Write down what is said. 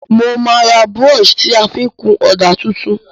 Mo má ra brush ti a fi n kun òdà tuntun